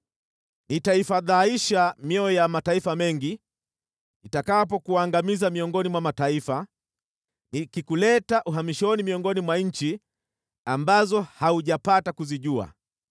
Nitaifadhaisha mioyo ya mataifa mengi nitakapokuangamiza miongoni mwa mataifa, nikikuleta uhamishoni miongoni mwa nchi ambazo haujapata kuzijua.